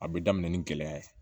A bɛ daminɛ ni gɛlɛya ye